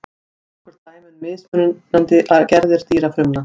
Nokkur dæmi um mismunandi gerðir dýrafrumna.